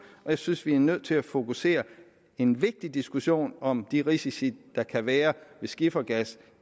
og jeg synes vi er nødt til at fokusere en vigtig diskussion om de risici der kan være ved skifergas